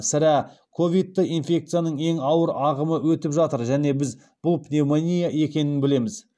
сірә ковидті инфекцияның ең ауыр ағымы өтіп жатыр және біз бұл пневмония екенін білеміз